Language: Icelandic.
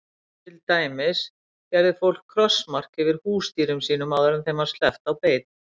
Til dæmis gerði fólk krossmark yfir húsdýrum sínum áður en þeim var sleppt á beit.